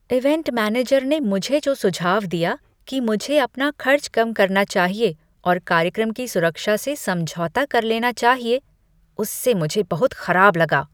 Event manager ने मुझे जो सुझाव दिया कि मुझे अपना खर्च कम करना चाहिए और कार्यक्रम की सुरक्षा से समझौता कर लेना चाहिए, उससे मुझे बहुत खराब लगा।